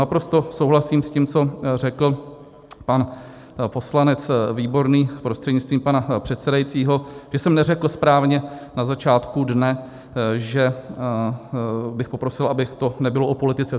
Naprosto souhlasím s tím, co řekl pan poslanec Výborný prostřednictvím pana předsedajícího, že jsem neřekl správně na začátku dne, že bych poprosil, aby to nebylo o politice.